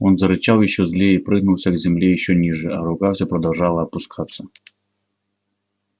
он зарычал ещё злее и пригнулся к земле ещё ниже а рука все продолжала опускаться